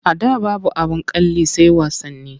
A da babu abin kalli sai wasanni.